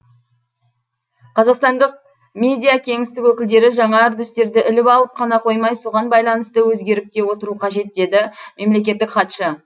қазақстандық медиакеңістік өкілдері жаңа үрдістерді іліп алып қана қоймай соған байланысты өзгеріп те отыру қажет деді мемлекеттік хатшы